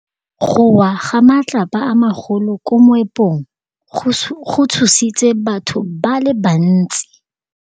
Go wa ga matlapa a magolo ko moepong go tshositse batho ba le bantsi.